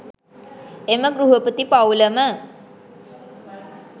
එම ගෘහපති පවුලම